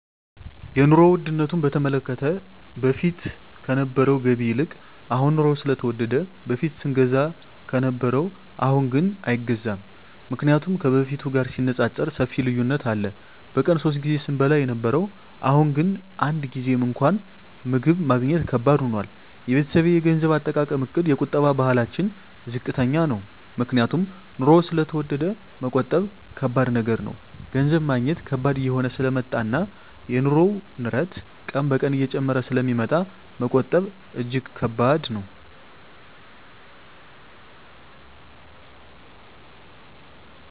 የኑሮ ዉድነቱ በተመለከተ በፊት ከነበረዉ ገቢ ይልቅ አሁን የኑሮዉ ስለተወደደ በፊት ስንገዛ ከነበረ አሁንግን አይገዛም ምክንያቱም ከበፊቱ ጋር ሲነፃፀር ሰፊ ልዩነት አለ በቀን ሶስት ጊዜ ስንበላ የነበረዉ አሁን ግን አንድ ጊዜም እንኳን ምግብ ማግኘት ከባድ ሆኗል የቤተሰቤ የገንዘብ አጠቃቀምእቅድ የቁጠባ ባህላችን ዝቅተኛ ነዉ ምክንያቱም ኑሮዉ ስለተወደደ መቆጠብ ከባድ ነገር ነዉ ገንዘብ ማግኘት ከባድ እየሆነ ስለመጣእና የኑሮዉ ንረት ቀን ቀን እየጨመረ ስለሚመጣ መቆጠብ እጂግ ከባድ ነዉ